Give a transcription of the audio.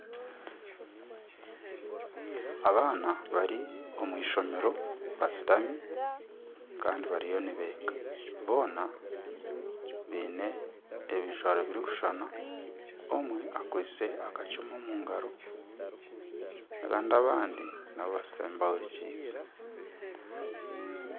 Abaana bari omw'eishomero bashutami kandi bariyo nibeega boona baine ebijwaro birikushushana omwe akwaitse akacumu omu ngaro kandi abandi nabo bashutami bahuurikize.